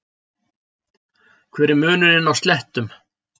hver er munurinn á slettum